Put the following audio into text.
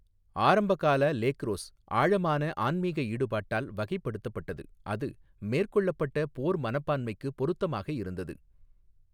ஆரம்பகால லேக்ரோஸ் ஆழமான ஆன்மீக ஈடுபாட்டால் வகைப்படுத்தப்பட்டது, அது மேற்கொள்ளப்பட்ட போர் மனப்பான்மைக்கு பொருத்தமாக இருந்தது.